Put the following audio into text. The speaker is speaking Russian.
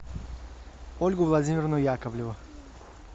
ольгу владимировну яковлеву